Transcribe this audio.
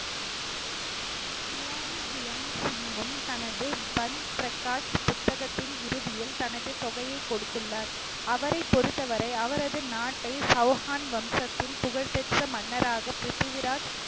கியானிக் கியான் சிங்கும் தனது பந்த் பிரகாஷ் புத்தகத்தின் இறுதியில் தனது தொகையை கொடுத்துள்ளார் அவரை பொறுத்தவரை அவரது நாட்டை சௌஹான் வம்சத்தின் புகழ் பெற்ற மன்னராக பிரித்திவிராஜ்